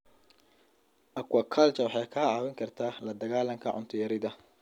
Aquaculture waxay kaa caawin kartaa la dagaallanka cunto yarida.